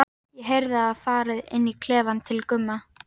Ég heyrði að farið var inn í klefann til Gumma.